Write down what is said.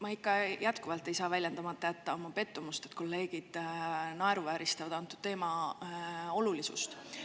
Ma ikka jätkuvalt ei saa väljendamata jätta oma pettumust, et kolleegid naeruvääristavad antud teema olulisust.